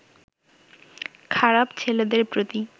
খারাপ ছেলেদের প্রতি